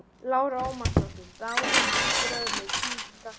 Lára Ómarsdóttir: Dagur, þín viðbrögð við tíðindum dagsins?